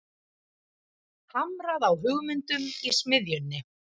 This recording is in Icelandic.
Hamrað á hugmyndum í smiðjunni